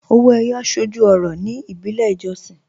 Ọwọ́ Eyọ̀ sọ́jú ọ̀rọ̀ ní ìbílẹ̀ ìjọ̀ṣìn